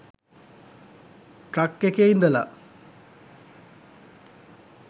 truck එකේ ඉඳල